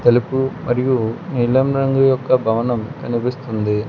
తెలుపు మరియు నీలం రంగు యొక్క భవనం కనిపిస్తుంది.